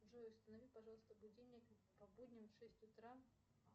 джой установи пожалуйста будильник по будням в шесть утра